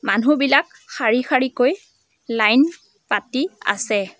মানুহবিলাকক শাৰী শাৰীকৈ লাইন পাতি আছে।